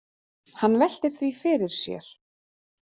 Hann veltir því fyrir sér.